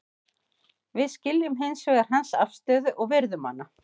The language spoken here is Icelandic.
Við skiljum hins vegar hans afstöðu og virðum hana.